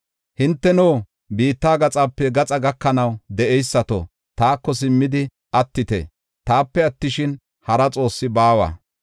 Hinteno biitta gaxape gaxa gakanaw de7eysato, taako simmidi attite; taape attishin, hara Xoossi baawa.